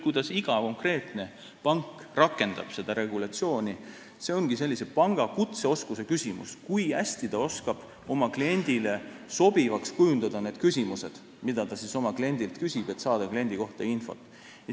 Kuidas iga konkreetne pank seda regulatsiooni rakendab, ongi panga kutseoskuse küsimus – kui hästi ta oskab kujundada oma kliendile sobivaks need küsimused, mida ta küsib, et saada tema kohta infot.